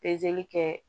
Pezeli kɛ